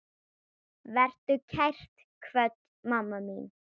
Vertu kært kvödd, mamma mín.